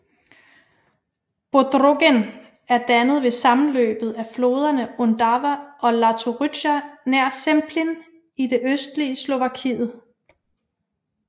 Bodrogen er dannet ved sammenløbet af floderne Ondava og Latorytsja nær Zemplín i det østlige Slovakiet